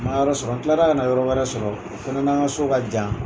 N ma yɔrɔ sɔrɔ n tilara kana yɔrɔ wɛrɛ sɔrɔ o fɛnɛ n'an ka so ka jan